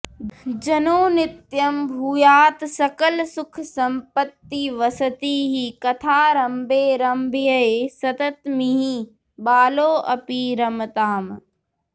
जनो नित्यं भूयात्सकलसुखसम्पत्तिवसतिः कथारम्भे रम्भ्ये सततमिह बालोऽपि रमताम्